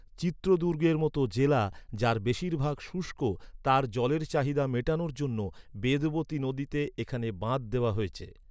চিত্রদুর্গের মত জেলা যার বেশিরভাগ শুষ্ক, তার জলের চাহিদা মেটানোর জন্য বেদবতী নদীতে এখানে বাঁধ দেওয়া হয়েছে।